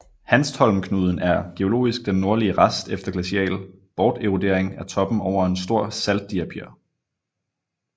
Hanstholmknuden er geologisk den nordlige rest efter glacial borterodering af toppen over en stor saltdiapir